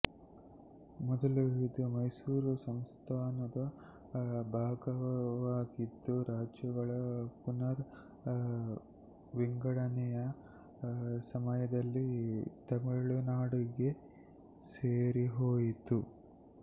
ಮೊದಲು ಇದು ಮೈಸೂರು ಸಂಸ್ಥಾನದ ಭಾಗವಾಗಿದ್ದು ರಾಜ್ಯಗಳ ಪುನರ್ ವಿಂಗಡನೆಯ ಸಮಯದಲ್ಲಿ ತಮಿಳುನಾಡಿಗೆ ಸೇರಿಹೋಯಿತು